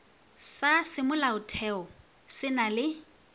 sa semolaotheo se na le